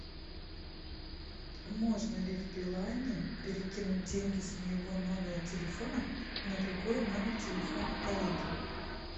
можно ли в билайне перекинуть деньги с моего номера телефона на другой номер телефона коллеги